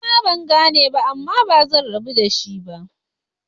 Nima bangane ba Amma bazan rabu da shi ba.